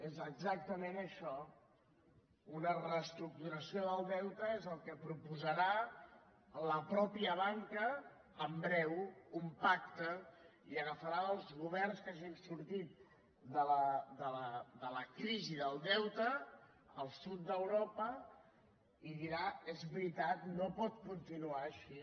és exactament això una reestructuració del deute és el que proposarà la mateixa banca en breu un pacte i agafarà els governs que hagin sortit de la crisi del deute al sud d’europa i dirà és veritat no pot continuar així